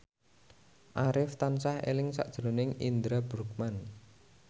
Arif tansah eling sakjroning Indra Bruggman